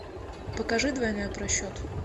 покажи двойной просчет